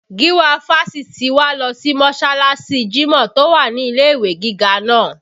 Giwa fásitì wa lọ sí mọsalasi jimọ tó wà ní ilé ìwé gíga náà